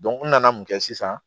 n nana mun kɛ sisan